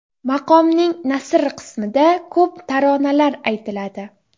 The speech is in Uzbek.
Maqomning nasr qismida ko‘p taronalar aytiladi.